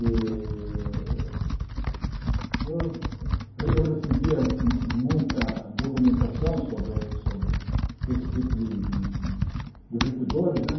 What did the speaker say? Eh eu eu recebia mu muita documentação sobre sobre sobre esse tipo de de de divertidores né.